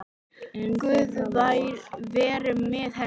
Guð veri með henni.